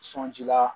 Sɔɔnji la